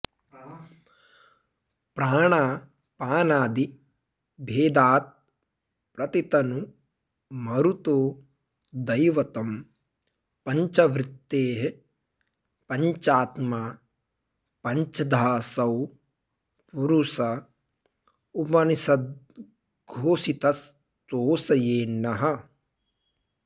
प्राणापानादि भेदात्प्रतितनु मरुतो दैवतं पञ्चवृत्तेः पञ्चात्मा पञ्चधाऽसौ पुरुष उपनिषद्घोषितस्तोषयेन्नः